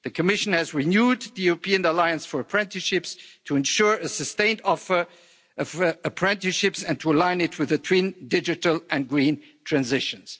The Commission has renewed the European Alliance for Apprenticeships to ensure a sustained offer of apprenticeships and to align it with the twin digital and green transitions.